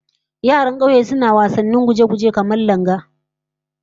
Yaran kauye suna wasannin guje-guje, kamar langa